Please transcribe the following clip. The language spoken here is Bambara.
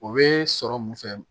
O bɛ sɔrɔ mun fɛ